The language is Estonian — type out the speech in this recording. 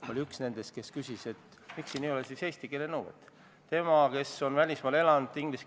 Kui rahvakeeles väljenduda, siis ülelaskmine nii Riigikogu liikmetest kui ka sihtgruppidest, st rongireisijatest, eriti puudega reisijatest.